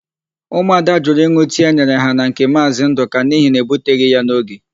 Ụmụada jụrụ ịn̄ụ tii e nyere ha na nke Maazị Ndụka n'ihi na ebuteghị ya n'oge.